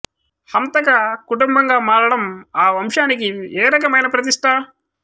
హంతక కుటుంబంగా మారడం ఆ వంశానికి ఏ రకమైన ప్రతిష్ఠ